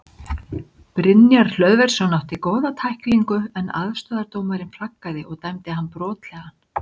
Brynjar Hlöðversson átti góða tæklingu en aðstoðardómarinn flaggaði og dæmdi hann brotlegan.